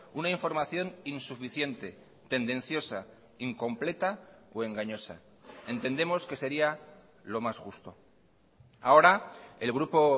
una información insuficiente tendenciosa incompleta o engañosa entendemos que sería lo más justo ahora el grupo